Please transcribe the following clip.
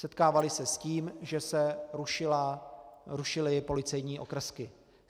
Setkávali se s tím, že se rušily policejní okrsky.